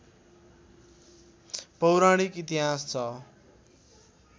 पौराणिक इतिहास छ